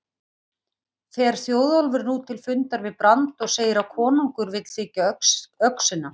Fer Þjóðólfur nú til fundar við Brand og segir að konungur vill þiggja öxina.